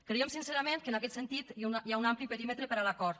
creiem sincerament que en aquest sentit hi ha un ampli perímetre per a l’acord